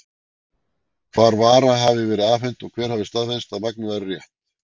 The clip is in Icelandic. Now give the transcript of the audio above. Hvar vara hafi verið afhent, og hver hafi staðfest, að magn væri rétt?